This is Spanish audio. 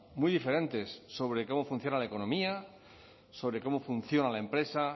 muy diferentes sobre cómo funciona la economía sobre cómo funciona la empresa